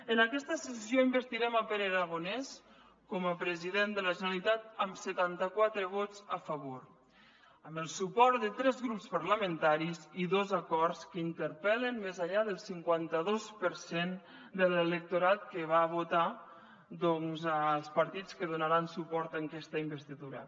en aquesta sessió investirem pere aragonès com a president de la generalitat amb setanta quatre vots a favor amb el suport de tres grups parlamentaris i dos acords que interpel·len més enllà del cinquanta dos per cent de l’electorat que va votar doncs els partits que donaran suport a aquesta investidura